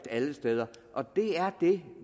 alle steder og det er det